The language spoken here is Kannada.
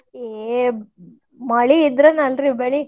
ಏ ಮಳಿ ಇದ್ರನ ಅಲ್ರಿ ಬೆಳಿ.